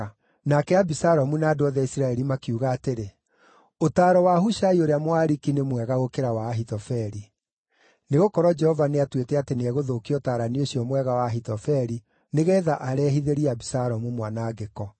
Nake Abisalomu na andũ othe a Isiraeli makiuga atĩrĩ, “Ũtaaro wa Hushai ũrĩa Mũariki nĩ mwega gũkĩra wa Ahithofeli.” Nĩgũkorwo Jehova nĩatuĩte atĩ nĩegũthũkia ũtaarani ũcio mwega wa Ahithofeli nĩgeetha arehithĩrie Abisalomu mwanangĩko.